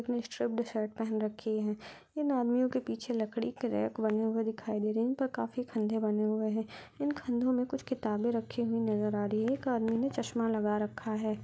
स्टब्बड़ shirt पहन रखी है इन आदमियों के पीछे लकड़ी के रैक बने हुए दिखाई दे रहे है इन पर काफी खंधे बने हुए है इन खंधो में कुछ किताबे रही हुई नज़र आ रही है एक आदमी ने चश्मा लगा रहा है।